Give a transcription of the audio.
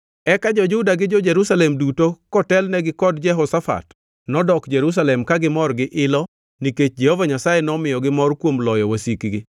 Eka jo-Juda gi jo-Jerusalem duto kotelnegi kod Jehoshafat nodok Jerusalem ka gimor gi ilo nikech Jehova Nyasaye nomiyogi mor kuom loyo wasikgi.